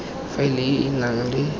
faela e e nang le